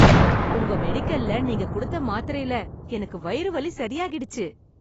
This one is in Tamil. உங்க மெடிக்கல்ல நீங்க கொடுத்த மாத்திரைல எனக்கு வயிறு வலி சரியாயிடுச்சு.